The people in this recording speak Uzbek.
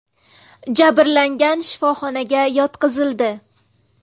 Jabrlanganlar shifoxonaga yotqizildi.